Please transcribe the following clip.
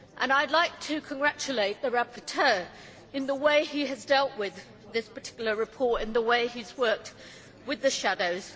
I would like to congratulate the rapporteur on the way he has dealt with this particular report and the way he has worked with the shadows.